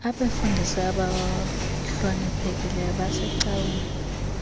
abefundisi abahloniphekileyo basecaweni